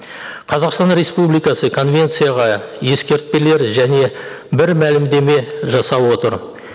қазақстан республикасы конвенцияға ескертпелер және бір мәлімдеме жасап отыр